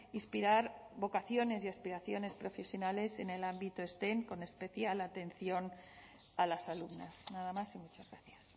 inspirar vocaciones y aspiraciones profesionales en el ámbito stem con especial atención a las alumnas nada más y muchas gracias